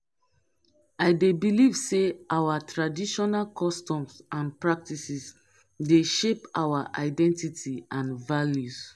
i dey believe say our traditional customs and practices dey shape our identify and values.